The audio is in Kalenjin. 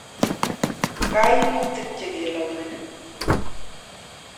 kaimutik che kelaumeni?